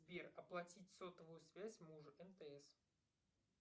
сбер оплатить сотовую связь мужу мтс